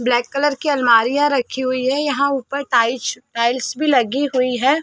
Black colour की अलमारिया रखी हुई है। यहाँ ऊपर टाइस टाइल्स भी लगी हुई है।